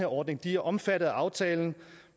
ordning de er omfattet af aftalen